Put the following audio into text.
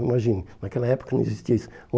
Imagina, naquela época não existia isso.